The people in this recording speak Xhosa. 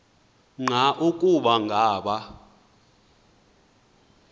nqa ukuba ngaba